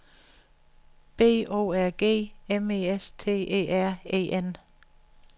B O R G M E S T E R E N